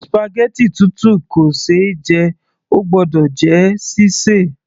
spaghetti tútù kò ṣe é jẹ, óò gbọ́dọ̀ jẹ́ sí sè